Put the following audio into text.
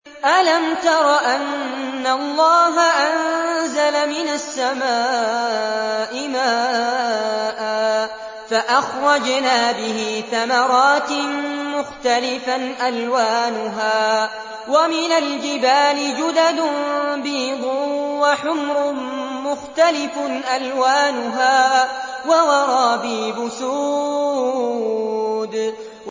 أَلَمْ تَرَ أَنَّ اللَّهَ أَنزَلَ مِنَ السَّمَاءِ مَاءً فَأَخْرَجْنَا بِهِ ثَمَرَاتٍ مُّخْتَلِفًا أَلْوَانُهَا ۚ وَمِنَ الْجِبَالِ جُدَدٌ بِيضٌ وَحُمْرٌ مُّخْتَلِفٌ أَلْوَانُهَا وَغَرَابِيبُ سُودٌ